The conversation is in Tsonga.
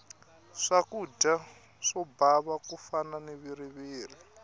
swakudya swo bava ku fana na viriviri